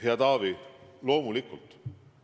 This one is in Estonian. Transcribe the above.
Hea Taavi, loomulikult.